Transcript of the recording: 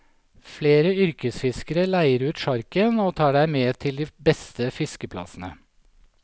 Flere yrkesfiskere leier ut sjarken og tar deg med til de beste fiskeplassene.